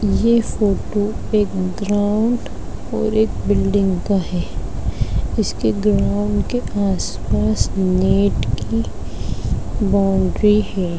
यह फोटो एक ग्राउन्ड और एक बिल्डिंग का है इसके ग्राउन्ड के आस-पास नेट की बाउंड्री है।